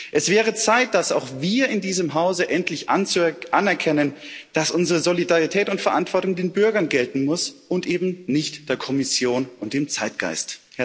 Es wäre Zeit, dass auch wir in diesem Hause endlich anerkennen, dass unsere Solidarität und Verantwortung den Bürgern gelten muss und eben nicht der Kommission und dem Zeitgeist.